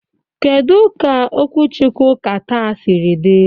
Kedu ka okwuchukwu Ụka taa siri dị?